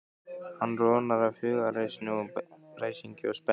Hann roðnar af hugaræsingi og spennu.